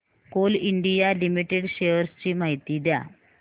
Coal India limited shares ची माहिती द्या